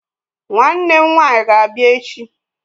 Nwannem nwanyi ga-abia echi